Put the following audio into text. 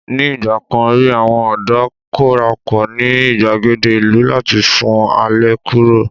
ní igbakan ri àwọn ọdọ korapo ni igbagede ìlú láti sun alẹ́ kuro